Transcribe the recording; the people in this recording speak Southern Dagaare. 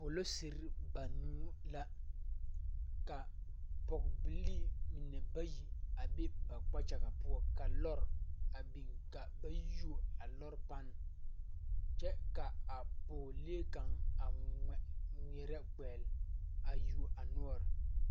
Polisiri banuu la ka pɔgebilii mine bayi a be ba kpakyagaŋ poɔ ka lɔre a biŋ ka a ba yuo a lɔre panne kyɛ ka a pɔgelee kaŋa a ŋmeɛrɛ kpɛgle a yuo a noɔre.